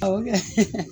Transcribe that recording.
Awɔ